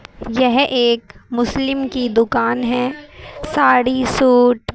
यह एक मुस्लिम की दुकान है साड़ी सूट--